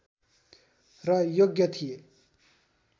र योग्य थिए